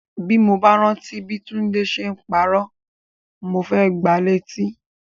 Ti mo bá rántí bi Tunde ṣe n parọ́, mo fẹ gbà létí.